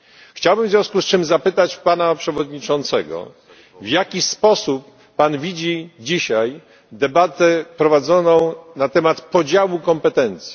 Chciałbym w związku z czym zapytać pana przewodniczącego, w jaki sposób pan widzi dzisiaj debatę prowadzoną na temat podziału kompetencji.